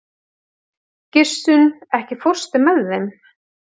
Gissunn, ekki fórstu með þeim?